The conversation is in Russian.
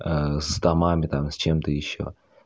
с томами там с чем-то ещё